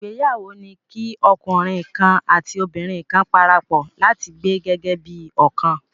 Ìgbéyàwó ni kí ọkùnrin kan àti obìnrin kan parapọ̀ láti gbé gẹ́gẹ́ bí ọ̀kan.